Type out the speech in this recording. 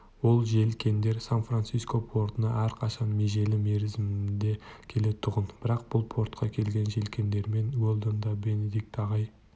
ол желкендер сан-франциско портына әрқашан межелі мерзімінде келетұғын бірақ бұл портқа келген желкендермен уэлдон да бенедикт ағай